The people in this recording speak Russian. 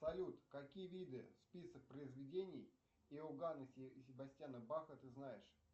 салют какие виды список произведений иоганна себастьяна баха ты знаешь